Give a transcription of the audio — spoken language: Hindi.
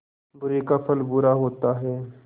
बुरे का फल बुरा होता है